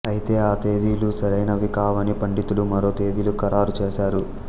అయితే ఆ తేదీలు సరైనవి కావని పండితులు మరో తేదీలు ఖరారు చేశారు